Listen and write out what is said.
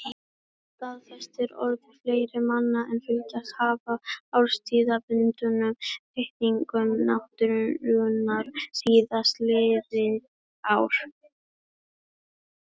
Það staðfestir orð fleiri manna sem fylgst hafa með árstíðabundnum breytingum náttúrunnar síðastliðin ár.